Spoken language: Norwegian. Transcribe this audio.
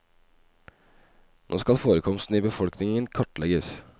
Nå skal forekomsten i befolkningen kartlegges.